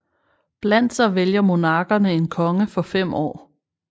Blandt sig vælger monarkerne en konge for fem år